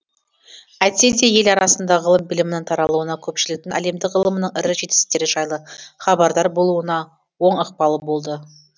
әйтсе де ел арасында ғылым білімнің таралуына көпшіліктің әлемдік ғылымның ірі жетістіктері жайлы хабардар болуына оң ықпалы болды